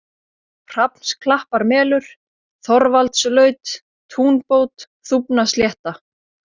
Hrafnsklapparmelur, Þorvaldslaut, Túnbót, Þúfnaslétta